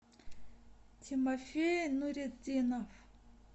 тимофей нуретдинов